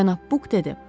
Cənab Buk dedi.